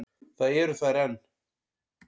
Það eru þær enn.